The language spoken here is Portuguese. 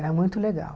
Era muito legal.